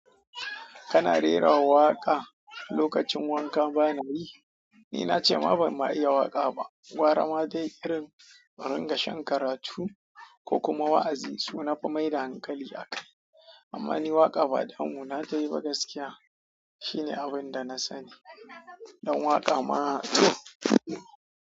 Kana rera waƙa lokacin wanka? Bana yi. Ni na ce ma ban ma iya waƙa ba. Gwarama dai irin aringa shan karatu ko kuma wa'azi su na fi mai da hankali a kai. Amma ni waƙa badamu na tayi ba gaskiya. Shi ne abun da na sani. Dan waƙa ma toh.